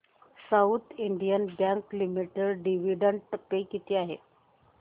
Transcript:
south Indian Bank Limited dividend pay किती आहे